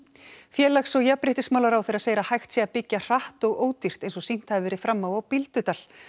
félags og jafnréttismálaráðherra segir að hægt sé að byggja hratt og ódýrt eins og sýnt hafi verið fram á á Bíldudal